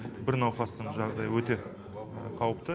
бір науқастың жағдайы өте қауіпті